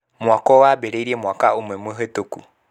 mwako wambĩrĩĩrie mwaka ũmwe mũhĩtũku.